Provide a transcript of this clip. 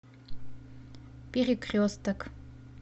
перекресток